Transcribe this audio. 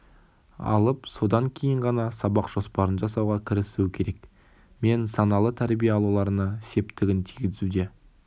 алып содан кейін ғана сабақ жоспарын жасауға кірісуі керек мен саналы тәрбие алуларына септігін тигізуде